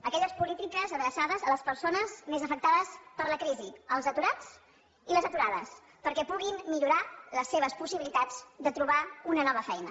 aquelles polítiques adreçades a les persones més afectades per la crisi els aturats i les aturades perquè puguin millorar les seves possibilitats de trobar una nova feina